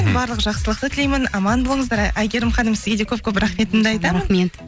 барлық жақсылықты тілеймін аман болыңыздар әйгерім ханым сізге де көп көп рахметімді айтамын рахмет